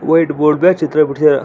White board ಚಿತ್ರ ಬಿಡಸ್ಯಾ.